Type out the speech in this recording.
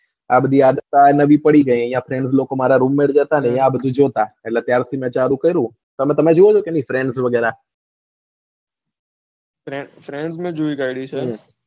આ બધી આદત પડી ગયી છે મારા roommates જે હતા ને એ બધા આ જોતા ત્યાર થી મેં ચાલુ કર્યું અને તમે જોવો છો કે નાઈ trends વગેરે trends મેં જોઈ કાઢી છે.